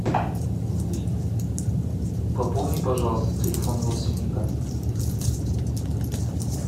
пополни пожалуйста телефон родственника